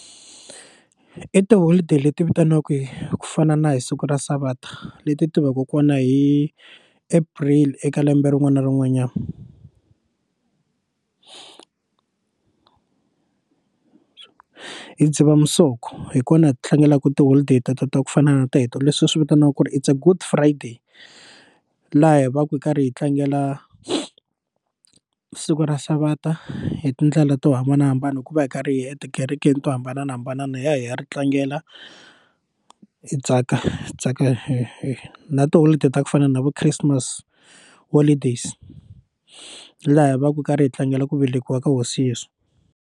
I tiholideyi leti vitaniwaka ku fana na hi siku ra savata leti ti va ka kona hi April eka lembe rin'wana na rin'wanyana hi Dzivamisoko hi kona hi tlangelaku ti holiday ta ta ta ku fana na teto leswi hi swi vitanaka ku ri i Good good friday laha hi va hi karhi hi tlangela siku ra savata hi tindlela to hambanahambana hi ku va hi karhi hi etikerekeni to hambanahambana na hi ya ha ri tlangela hi tsaka hi tsaka hi na tiholideyi ta ku fana na vo Christmas holidays laha hi va hi karhi hi tlangela ku velekiwa ka Hosi Yesu.